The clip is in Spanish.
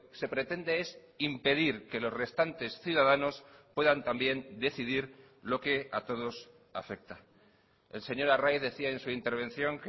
se pretende es impedir que los restantes ciudadanos puedan también decidir lo que a todos afecta el señor arraiz decía en su intervención